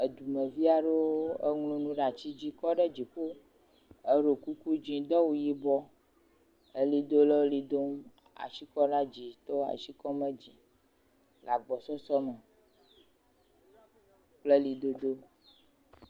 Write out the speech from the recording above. Dumevi aɖewo ŋlɔ nu ɖe ati dzi kɔ ɖe dziƒo eɖo kuku dziŋ do awu yibɔ. Ʋlidolawo le ʋli dom, asikɔɖedzitɔwo le asi kɔm ɖe dzi le agbɔsɔsɔ me kple ʋlidodo.